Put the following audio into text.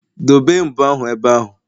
Dobee mbo ahụ ebe ahụ